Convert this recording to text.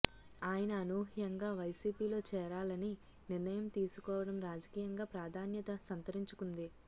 ఆయన అనూహ్యంగా వైసిపిలో చేరాలని నిర్ణయం తీసుకోవడం రాజకీయంగా ప్రాధాన్యత సంతరించుకుంది